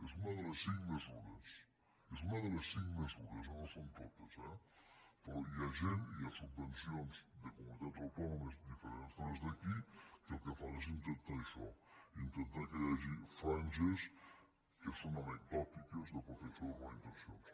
és una de les cinc mesures és una de les cinc mesures no són totes eh però hi ha gent hi ha subvencions de comunitats autònomes diferents de les d’aquí que el que fan és intentar això intentar que hi hagi franges que són anecdòtiques de protecció d’urbanitzacions